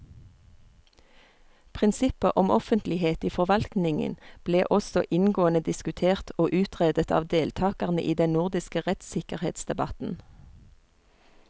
Prinsippet om offentlighet i forvaltningen ble også inngående diskutert og utredet av deltakerne i den nordiske rettssikkerhetsdebatten.